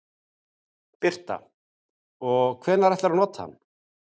Birta: Og hvenær ætlar þú að nota hann?